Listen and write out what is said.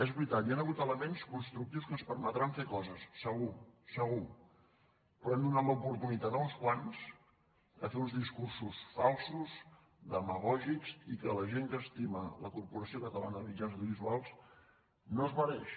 és veritat hi han hagut elements constructius que ens permetran fer coses segur segur però hem donat l’oportunitat a uns quants de fer uns discursos falsos demagògics i que la gent que estima la corporació catalana de mitjans audiovisuals no es mereix